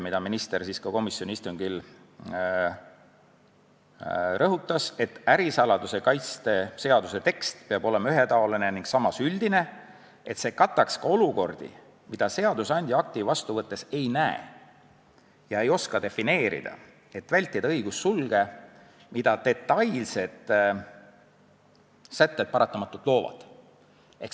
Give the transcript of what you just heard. Nimelt, minister komisjoni istungil rõhutas: "Ärisaladuse kaitse seaduse tekst peab olema ühetaoline ning samas üldine, et see kataks ka olukordi, mida seadusandja akti vastu võttes ei näe ja ei oska defineerida, et vältida õigussulge, mida detailsed sätted paratamatult loovad.